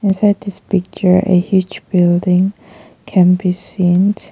Beside this picture a huge building can be seen.